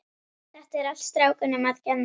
Þetta er allt strákunum að kenna.